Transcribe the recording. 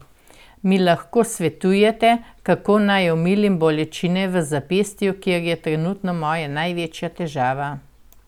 Mi lahko svetujete, kako naj omilim bolečine v zapestju, kar je trenutno moja največja težava?